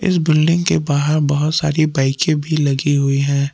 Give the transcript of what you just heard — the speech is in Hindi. बिल्डिंग के बाहर बहोत सारी बाइके भी लगी हुई है।